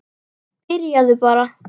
Byrjaðu bara.